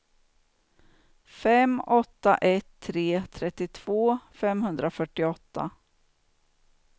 fem åtta ett tre trettiotvå femhundrafyrtioåtta